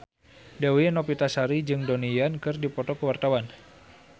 Dewi Novitasari jeung Donnie Yan keur dipoto ku wartawan